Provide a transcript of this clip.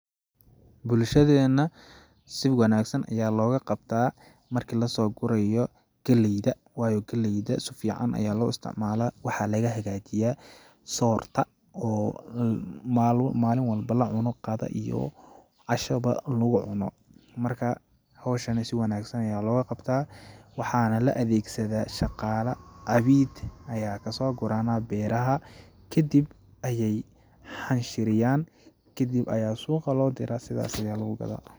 Bulshadeena si wanaagsan ayaa looga qabtaa marki lasoo gurayo galleyda waayo galleyda su fiican ayaa loo isticmalaa ,waxaa laga hagajiyaa soorta ,oo maalin walba la cuno qada iyo casho ba lagu cuno ,marka hawshani si wanaagsan ayaa looga qabtaa ,waxaana la adeeg sadaa shaqaala cabiid ayaa kasoo guranaa geedaha ,kadib ayeey xanshiriyaan ,kadib ayaa suuqa loo diraa sidaasi ayaa lagu gadaa.